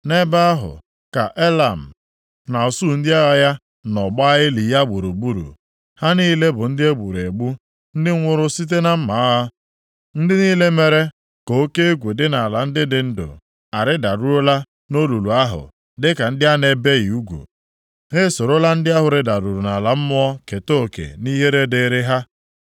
“Nʼebe ahụ ka Elam na usuu ndị agha ya nọ gbaa ili ya gburugburu. Ha niile bụ ndị e gburu egbu, ndị nwụrụ site na mma agha. Ndị niile mere ka oke egwu dị nʼala ndị dị ndụ arịdaruola nʼolulu ahụ dịka ndị a na-ebighị ugwu. Ha esorola ndị ahụ rịdaruru nʼala mmụọ keta oke nʼihere dịrị ha.